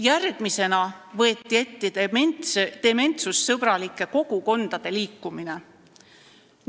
Järgmisena võeti ette dementsussõbralike kogukondade liikumine.